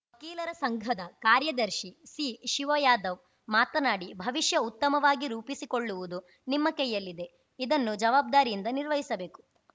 ವಕೀಲರ ಸಂಘದ ಕಾರ್ಯದರ್ಶಿ ಸಿಶಿವಯಾದವ್‌ ಮಾತನಾಡಿ ಭವಿಷ್ಯ ಉತ್ತಮವಾಗಿ ರೂಪಿಸಿಕೊಳ್ಳುವುದು ನಿಮ್ಮ ಕೈಯಲ್ಲಿದೆ ಇದನ್ನು ಜವಾಬ್ದಾರಿಯಿಂದ ನಿರ್ವಹಿಸಬೇಕು